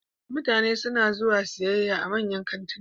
Mutane suna zuwa siyayya a manyan kantuna